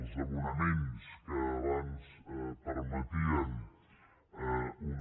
els abonaments que abans permetien una